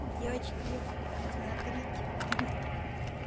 девочки смотрите мг